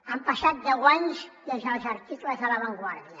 han passat deu anys des dels articles de la vanguardia